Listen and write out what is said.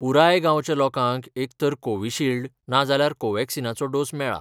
पुराय गांवच्या लोकांक एकतर कोविशिल्ड ना जाल्यार कोवॅक्सिनाचो डोस मेळा.